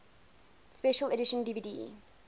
special edition dvd